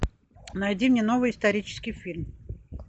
найди мне новый исторический фильм